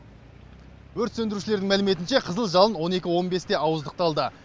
өрт сөндірушілердің мәліметінше қызыл жалын он екі он бесте ауыздықталды